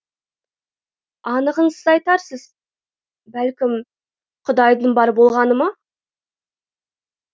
анығын сіз айтарсыз бәлкім құдайдың бар болғаны ма